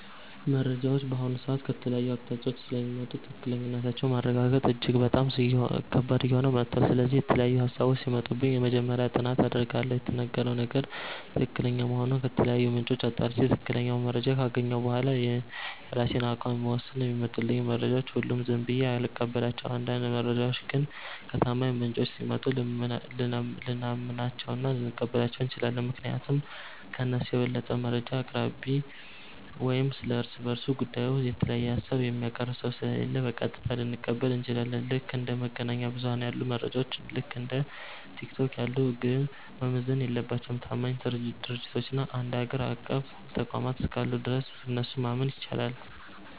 መረጃዎች በአሁኑ ሰዓት ከተለያዩ አቅጣጫዎች ስለሚመጡ ትክክለኛነታቸውን ማረጋገጥ እጅግ ከባድ እየሆነ መጥቷል። ስለዚህ፣ የተለያዩ ሃሳቦች ሲመጡብኝ መጀመሪያ ጥናት አደርጋለሁ። የተነገረው ነገር ትክክለኛ መሆኑን ከተለያዩ ምንጮች አጣርቼ፣ ትክክለኛውን መረጃ ካገኘሁ በኋላ ነው የራሴን አቋም የምወስነው። የሚመጡልኝን መረጃዎች ሁሉ ዝም ብዬ አልቀበላቸውም። አንዳንድ መረጃዎች ግን ከታማኝ ምንጮች ሲመጡ ልናምናቸውና ልንቀበላቸው እንችላለን። ምክንያቱም ከእነሱ የበለጠ መረጃ አቅራቢ ወይም ስለ እርስ በርሱ ስለ ጉዳዩ የተለየ ሃሳብ የሚያቀርብ ሰው ስለሌለ፣ በቀጥታ ልንቀበል እንችላለን። ልክ እንደ መገናኛ ብዙኃን ያሉ መረጃዎች፣ ልክ እንደ ቲክቶክ ያሉት ግን መመዘን የለባቸውም። ታማኝ ድርጅቶችና አገር አቀፍ ተቋማት እስካሉ ድረስ እነሱን ማመን ይቻላል።